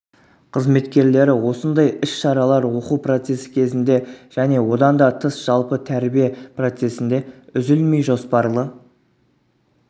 қызметкерлері осындай іс-шаралар оқу процесі кезінде және одан да тыс жалпы тәрбие процессінде үзілмей жоспарлы